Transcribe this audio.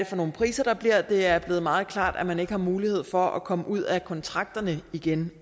for nogle priser der bliver det er blevet meget klart at man ikke har mulighed for at komme ud af kontrakterne igen